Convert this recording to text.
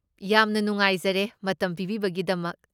ꯌꯥꯝꯅ ꯅꯨꯡꯉꯥꯏꯖꯔꯦ ꯃꯇꯝ ꯄꯤꯕꯤꯕꯒꯤꯗꯃꯛ꯫